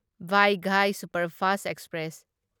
Vaigai superfast express